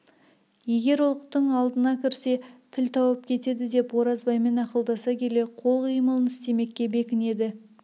егер ұлықтың алдына кірсе тіл тауып кетеді деп оразбаймен ақылдаса келе қол қимылын істемекке бекінеді